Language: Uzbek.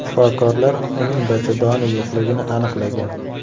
Shifokorlar uning bachadoni yo‘qligini aniqlagan.